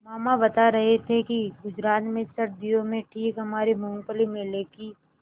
मामा बता रहे थे कि गुजरात में सर्दियों में ठीक हमारे मूँगफली मेले की